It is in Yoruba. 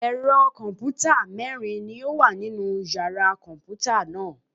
Ẹ̀rọ kọ̀m̀pútà mẹ́rin ni ó wà nínu yàrá kọ̀m̀pútà náà.